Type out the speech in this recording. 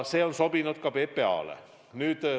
See on sobinud ka PPA-le.